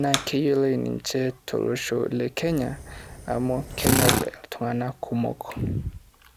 naa keyioloi ninche tolosho le Kenya amu kenyor iltung'ana kumok.